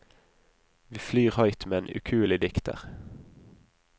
Vi flyr høyt med en ukuelig dikter.